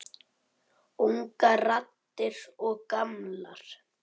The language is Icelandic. Ungar raddir og gamlar.